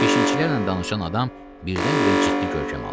Keşikçilərlə danışan adam birdən-birə ciddi görkəm aldı.